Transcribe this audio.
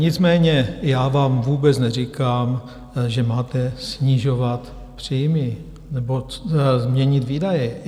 Nicméně já vám vůbec neříkám, že máte snižovat příjmy nebo změnit výdaje.